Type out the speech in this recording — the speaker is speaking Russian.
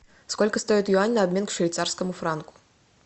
сколько стоит юань на обмен к швейцарскому франку